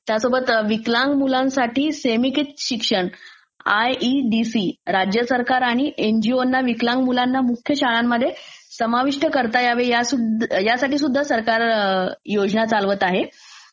त्यासोबत विकलांग मुलांसाठी not clear शिक्षण आयईडीसी, राज्य सरकार आणि एनजीओंना विकलांग मुलांना मुख्य शाळांमध्ये समाविष्ट करता यावे, यासाठी सुध्दा सरकार योजना चालवतं आहे.